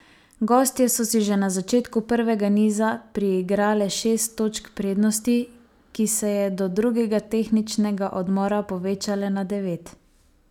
Gostje so si že na začetku prvega niza priigrale šest točk prednosti, ki se je do drugega tehničnega odmora, povečale na devet.